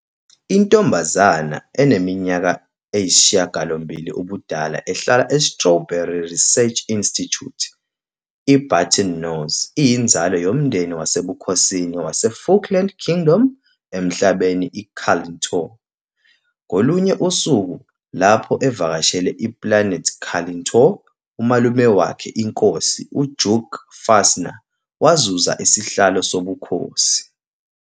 Intombazane eneminyaka engu-8 ubudala ehlala e-Strawberry Research Institute, i-Button Nose iyinzalo yomndeni wasebukhosini waseFukland Kingdom emhlabeni iCalitontou. Ngolunye usuku, lapho evakashele i-Planet Calitontou, umalume wakhe, inkosi, uDuke Fastener, wazuza isihlalo sobukhosi.